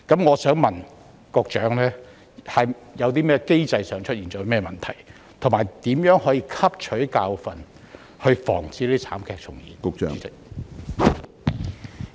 我想問局長，機制上有何問題，以及當局會如何汲取教訓防止慘劇重演？